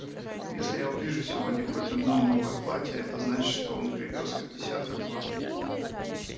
если я увижу сегодня хоть одно новое платье это значит что он привёз их десятка два